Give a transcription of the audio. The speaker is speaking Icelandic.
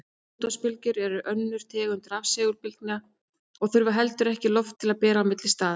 Útvarpsbylgjur eru önnur tegund rafsegulbylgna og þurfa heldur ekki loft til að berast milli staða.